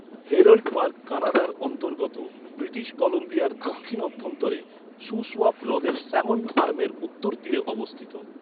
Herald Park কানাডার অন্তর্গত British কলম্বিয়ার দক্ষিণ অভ্যন্তরে শুসওয়াপ হ্রদের স্যামন আর্মের উত্তর তীরে অবস্থিত।